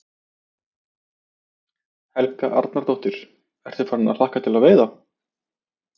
Helga Arnardóttir: Ertu farinn að hlakka til að veiða?